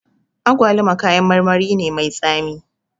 Agwaluma kayan marmari ne mai tsami